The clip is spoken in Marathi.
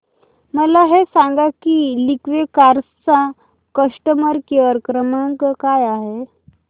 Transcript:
मला हे सांग की लिंकवे कार्स चा कस्टमर केअर क्रमांक काय आहे